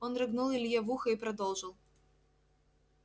он рыгнул илье в ухо и продолжил